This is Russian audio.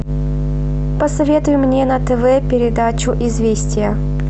посоветуй мне на тв передачу известия